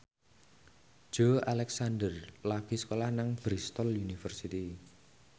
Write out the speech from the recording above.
Joey Alexander lagi sekolah nang Bristol university